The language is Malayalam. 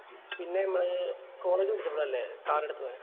പിന്നെ നമ്മള് college പഠിച്ചപോളല്ലേ car എടുത്ത് പോയെ